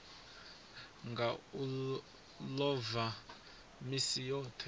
nga u ḽova misi yoṱhe